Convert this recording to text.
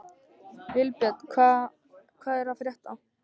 Vilbjörn, hvað er að frétta?